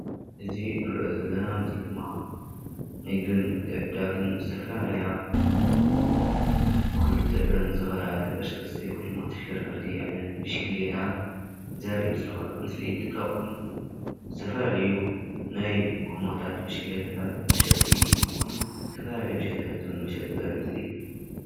እዚ ንሪኦ ዘለና ምስሊ ድማ ንግድን ምትዕድዳግን ዝተፈላለያ ብኽልተ እግረን ዝኸዳ ተንቀስቀስቲ ወይ ድማ ተሽከርከርቲ ዓይነት ብሽክሌታ ዘርኢ ምስሊ ምስሊ እንትኸውን ዝተፈላለዩ ናይ ጎማታት ብሽክሌታታት መሸጢ እንትኸውን ዝተፈላለያ ብሽክሌታትን መሸጢ ዘርኢ ምስሊ እዩ፡፡